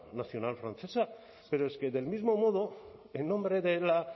nacional francesa pero es que del mismo modo en nombre de la